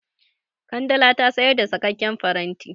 Kandala ta sayar da saƙaƙƙen faranti.